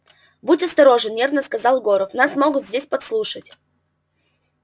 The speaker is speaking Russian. будь осторожен нервно сказал горов нас могут здесь подслушать